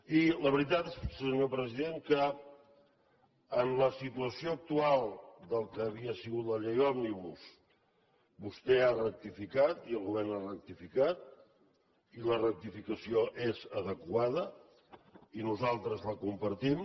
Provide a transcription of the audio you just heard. i la veritat és senyor president que en la situació actual del que havia sigut la llei òmnibus vostè ha rectificat i el govern ha rectificat i la rectificació és adequada i nosaltres la compartim